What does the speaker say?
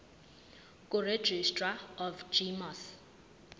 kuregistrar of gmos